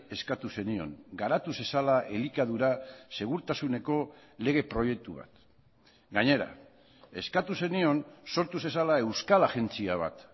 eskatu zenion garatu zezala elikadura segurtasuneko lege proiektu bat gainera eskatu zenion sortu zezala euskal agentzia bat